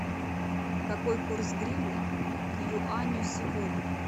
какой курс гривны к юаню сегодня